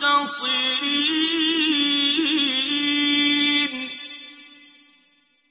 مُنتَصِرِينَ